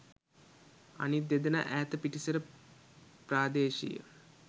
අනිත් දෙදෙනා ඈත පිටිසර ප්‍රාදේශීය